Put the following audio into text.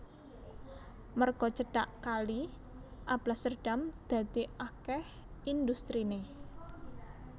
Merga cedhak kali Alblasserdam dadi akèh industriné